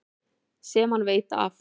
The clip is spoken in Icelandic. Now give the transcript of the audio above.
Sem hann veit af.